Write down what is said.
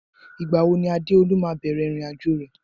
Ìgbà wo ni Adeolu máa bẹ̀rẹ̀ irin ajo rẹ